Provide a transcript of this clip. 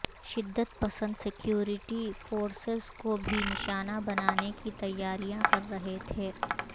شدت پسند security forces کو بھی نشانہ بنانے کی تیاریاں کر رہے تھے